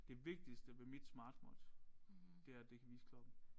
Det vigtigste ved mit Smartwatch det er at det kan vise klokken